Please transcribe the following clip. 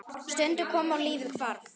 Stundin kom og lífið hvarf.